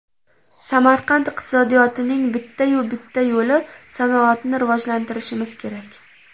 Samarqand iqtisodiyotining bitta-yu bitta yo‘li sanoatni rivojlantirishimiz kerak.